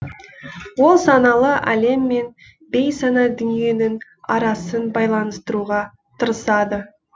ол саналы әлем мен бейсана дүниенің арасын байланыстыруға тырысады